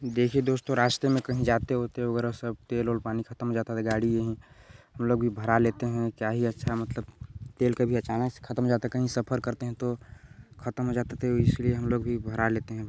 देखिए दोस्तों रास्ते में कहीं जाते ओते वगैरा सब तेल ओल पानी सब खत्म हो जाता था गाड़ी यहीं हम लोग भी भरा लेते है क्या ही अच्छा मतलब तेल कभी अचानक से ख़त्म हो जाता कहीं सफर करते है तो ख़त्म हो जाता है तो इसलिए हम लोग भी भरा लेते है।